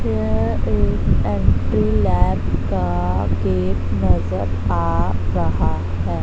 यह एक का गेट नजर आ रहा है।